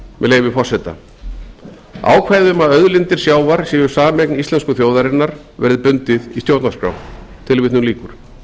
leyfi forseta ákvæðið um að auðlindir sjávar séu sameign íslensku þjóðarinnar verði bundið í stjórnarskrá tilvitnun lýkur